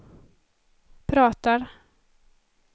pratar